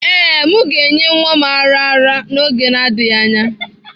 Ee, m ga-enye nwa m ara ara n'oge adịghị anya.